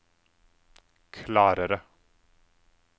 klarere